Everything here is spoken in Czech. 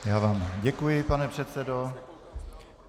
Já vám děkuji, pane předsedo.